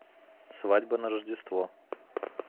свадьба на рождество